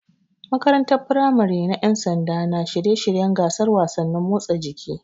Makarantar firamare na Ƴan sanda na shirye shiryen gasar wasannin motsa jiki.